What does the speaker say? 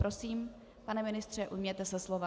Prosím, pane ministře, ujměte se slova.